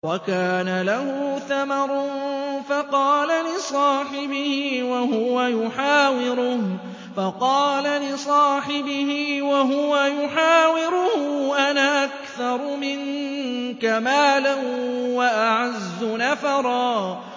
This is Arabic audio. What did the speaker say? وَكَانَ لَهُ ثَمَرٌ فَقَالَ لِصَاحِبِهِ وَهُوَ يُحَاوِرُهُ أَنَا أَكْثَرُ مِنكَ مَالًا وَأَعَزُّ نَفَرًا